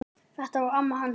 Þetta var amma hans Jóa.